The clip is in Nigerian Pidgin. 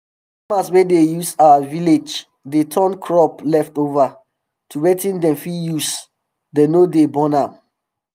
farmers wey dey our villaage dey um turn crop leftover um to wetin dem fit use dem no dey burn am